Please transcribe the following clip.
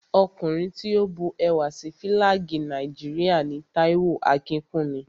Ọkùnrin tí ó bu ẹwà sí Fílàgì Nàìjíríà ni Táíwò Akínkúnmi